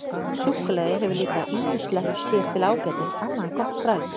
Súkkulaði hefur líka ýmislegt sér til ágætis annað en gott bragð.